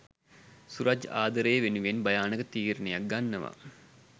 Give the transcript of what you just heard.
සුරජ් ආදරේ වෙනුවෙන් භයානක තීරණයක් ගන්නවා